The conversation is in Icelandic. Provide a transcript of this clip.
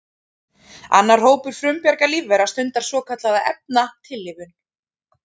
Annar hópur frumbjarga lífvera stundar svokallaða efnatillífun.